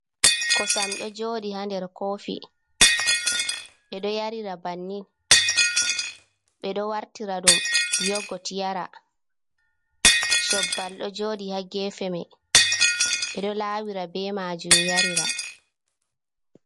Kosam ɗo jooɗi haa nder koofi, ɓe ɗo yarira bannin, ɓe ɗo wartira ɗum yogot yara, cobbal ɗo jooɗi haa geefe may, ɓe ɗo laawira be maajum yarira.